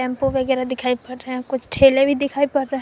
tempo वगैरा दिखाई पड़ रहा है कुछ ठेले भी दिखाई पड़ रहे --